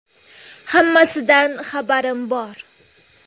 Hammasidan xabarim bor.